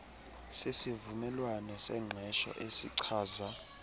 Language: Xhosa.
sesivumelwano sengqesho esichaza